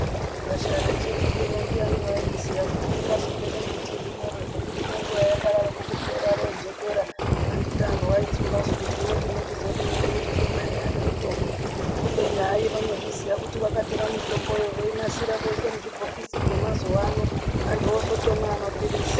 Gwasha reChirindi ndiani wairiziya kuti ringazopera mbiti irimwero zvokuti nenguwa yakadaro ko kupera rojekera. Anditi antu aitsumba su kuti hino tinochizodii ngekuti ngemwaiya nemitombo. Kubeni hai vanozviziya kuti vakatora mitombo yo vorinasira voisa muzvibhokisi zvemazuwa ano. Antu ozotomwa a mapirizi.